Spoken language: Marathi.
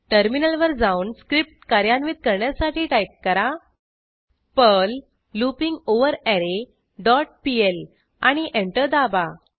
टर्मिनलवर जाऊन स्क्रिप्ट कार्यान्वित करण्यासाठी टाईप करा पर्ल लूपिंगवररे डॉट पीएल आणि एंटर दाबा